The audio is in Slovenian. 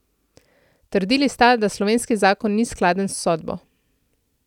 Trdili sta, da slovenski zakon ni skladen s sodbo.